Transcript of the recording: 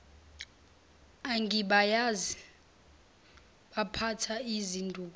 angibayazi baphatha izinduku